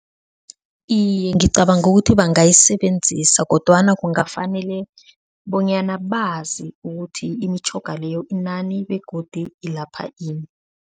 Iye, ngicabanga ukuthi bangayisebenzisa, kodwana kungafanele bonyana bazi ukuthi imitjhoga leyo inani begodu ilapha ini?